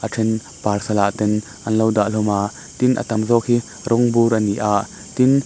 a then parcel ah ten an lo dah hlawm a tin a tam zawk hi rawng bur a ni a tin--